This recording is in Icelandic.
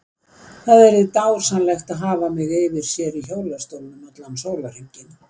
Það yrði dásamlegt að hafa mig yfir sér í hjólastólnum allan sólarhringinn.